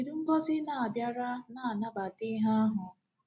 Kedu Ngọzị na-abịara na-anabata ihe ahụ?